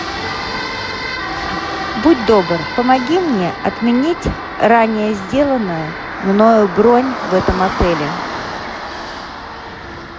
будь добр помоги мне отменить ранее сделанную мною бронь в этом отеле